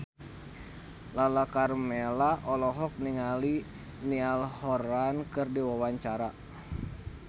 Lala Karmela olohok ningali Niall Horran keur diwawancara